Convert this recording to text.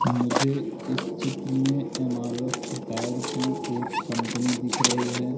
मुझे इस चित्र में एम_आर_एफ टायर की एक कंपनी दिख रही हैं।